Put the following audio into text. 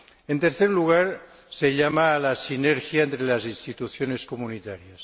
En tercer lugar, se llama a la sinergia entre las instituciones comunitarias.